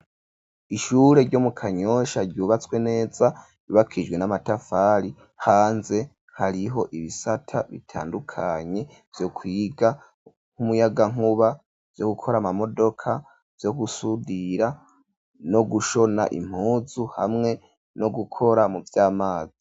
Ishure ryo mu Kanyosha ryubatswe neza ryubakishijwe n'amatafari hanze hariho ibisata bitandukanye vyo kwiga nk'umuyagankuba yo gukora ama modoka yo gusudira no gushona impuzu hamwe no gukora mu vy'amazi.